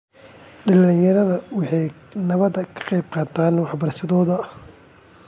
Dhallinyarada waxay nabadda ka qaybqaataan waxbarashadooda.